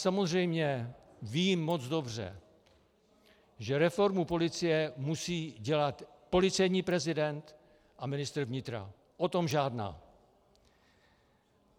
Samozřejmě vím moc dobře, že reformu policie musí dělat policejní prezident a ministr vnitra, o tom žádná.